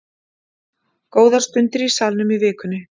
Góðar stundir í Salnum í vikunni